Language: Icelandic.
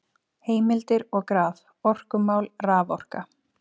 Heimildir og graf: Orkumál- Raforka.